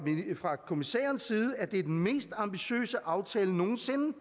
kommissærens side at det er den mest ambitiøse aftale nogen sinde